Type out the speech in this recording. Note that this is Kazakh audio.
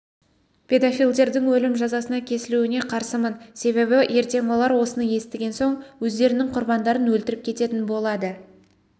педофилдердің өлім жазасына кесілуіне қарсымын себебі ертең олар осыны естіген соң өздерінің құрбандарын өлтіріп кететін болады